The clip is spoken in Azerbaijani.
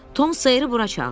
Tom Sayeri bura çağırın.